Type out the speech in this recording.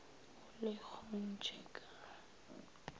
go le gontši ka ga